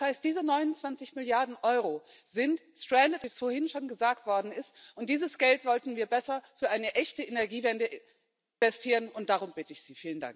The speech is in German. Das heißt, diese 29 Milliarden Euro sind wie es vorhin schon gesagt worden ist, und dieses Geld sollten wir besser für eine echte Energiewende investieren, und darum bitte ich Sie.